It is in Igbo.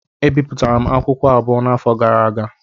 M bipụtara akwụkwọ abụọ n'afọ gara aga.